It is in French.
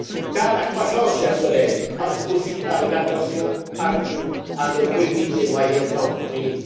crise. Car la croissance, chers collègues, passe aussi par une attention accrue à nos petites et moyennes entreprises.